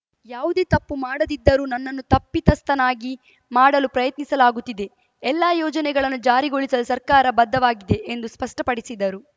ಯಾವುದೇ ತಪ್ಪು ಮಾಡದಿದ್ದರೂ ನನ್ನನ್ನು ತಪ್ಪಿತಸ್ಥನನ್ನಾಗಿ ಮಾಡಲು ಪ್ರಯತ್ನಿಸಲಾಗುತ್ತಿದೆ ಎಲ್ಲಾ ಯೋಜನೆಗಳನ್ನು ಜಾರಿಗೊಳಿಸಲು ಸರ್ಕಾರ ಬದ್ಧವಾಗಿದೆ ಎಂದು ಸ್ಪಷ್ಟಪಡಿಸಿದರು